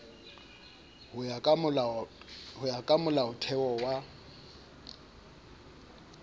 ho ya ka molaotheo wa